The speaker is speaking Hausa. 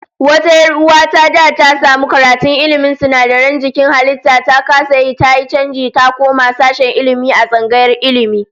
Wata 'yar uwa ta da ta samu karatun ilmin sinadaran jikin halittu, ta kasa yi, tayi chanji ta koma sashen Ilmi a tsangayar Ilmi